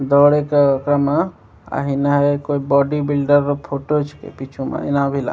दर एक ओकरा म आएहना है कोई बॉडी बिल्डर रअ फोटो छके पीछू मा ऐना भी ला --